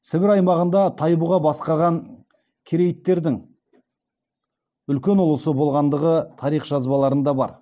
сібір аймағында тайбұға басқарған керейттердің үлкен ұлысы болғандығы тарих жазбаларында бар